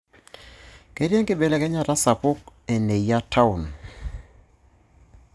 Ketiii enkibelekenyata sapuk eneyia taon.